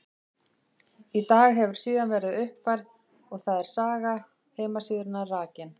Í dag hefur síðan verið uppfærð og þar er saga heimasíðunnar rakin.